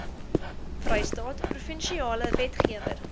vrystaat provinsiale wetgewer